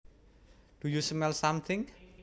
Do you smell something